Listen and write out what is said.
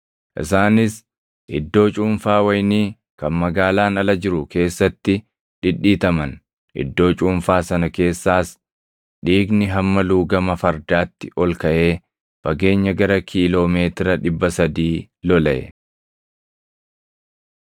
Isaanis iddoo cuunfaa wayinii kan magaalaan ala jiru keessatti dhidhiitaman; iddoo cuunfaa sana keessaas dhiigni hamma luugama fardaatti ol kaʼee fageenya gara kiiloo meetira 300 lolaʼe.